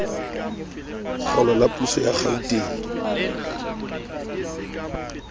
kgolo la puso ya gauteng